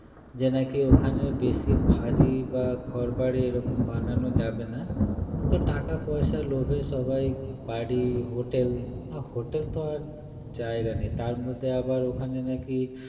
যে নাকি ওখানে বেশি ভারী বা ঘরবাড়ি এরকম বানানো যাবে না কিন্তু টাকা পয়সার লোভে সবাই বাড়ি hotel hotel তো আর জায়গা নেই তার মধ্যে আবার ওখানে নাকি